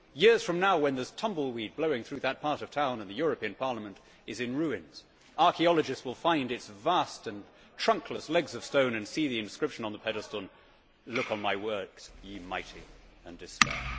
Years from now, when there is tumbleweed blowing through that part of town and the European Parliament is in ruins, archaeologists will find its vast and trunkless legs of stone and see the inscription on the pedestal Look on my works, ye Mighty, and despair'.